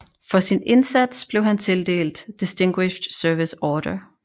For sin indsats blev han tildelt Distinguished Service Order